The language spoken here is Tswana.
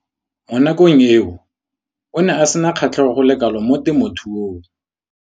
Mo nakong eo o ne a sena kgatlhego go le kalo mo temothuong.